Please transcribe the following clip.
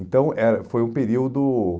Então, era foi um período